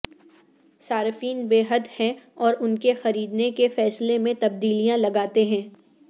صارفین بے حد ہیں اور ان کے خریدنے کے فیصلے میں تبدیلیاں لگاتے ہیں